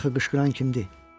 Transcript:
Axı qışqıran kimdir?